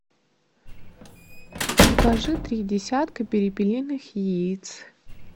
закажи три десятка перепелиных яиц